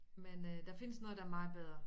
Men øh der findes noget der er meget bedre